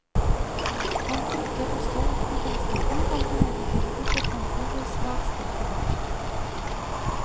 Man frykter også at kontantstøtten kan få negative konsekvenser for svakstilte barn.